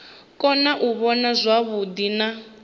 kona u vhona zwavhuḓi na